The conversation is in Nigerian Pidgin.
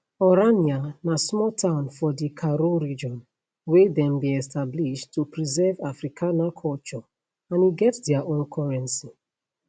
orania na small town for di karoo region wey dem bin establish to preserve afrikaner culture and e get dia own currency